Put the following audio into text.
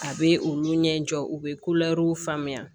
A bɛ olu ɲɛ jɔ u bɛ ko ɛriw faamuya